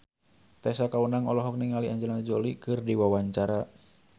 Tessa Kaunang olohok ningali Angelina Jolie keur diwawancara